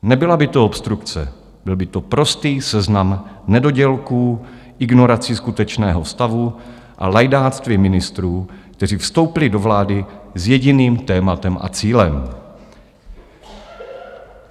Nebyla by to obstrukce, byl by to prostý seznam nedodělků, ignorací skutečného stavu a lajdáctví ministrů, kteří vstoupili do vlády s jediným tématem a cílem.